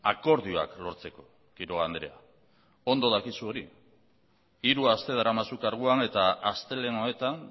akordioak lortzeko quiroga andrea ondo dakizu hori hiru aste daramazu karguan eta astelehen honetan